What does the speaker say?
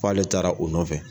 K'ale taara o nɔfɛ.